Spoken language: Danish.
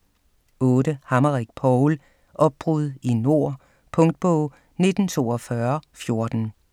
8. Hammerich, Paul: Opbrud i nord Punktbog 194214